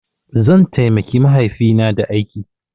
Zan taimaki mahaifina da aiki.